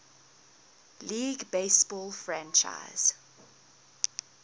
league baseball franchise